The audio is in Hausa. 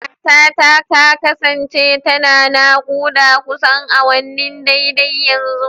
Matata ta kasance tana naƙuda kusan awanni daidai yanzu.